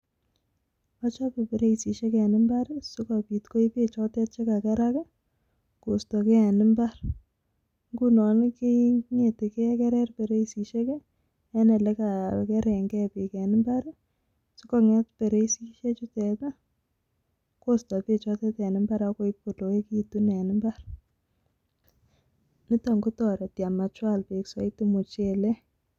Ochobe bereisishek en mbar sigobit koib beechoto chekakerak kosto ge en mbar. Ngunon kenget kegerer pereisishek ak ele ka keren ke beek en imbar asi kong'et pereisishechu kosto bechoto ak koib koloegitun en mbar. Nitonkotoreti ama chwal beek soiti muchelek.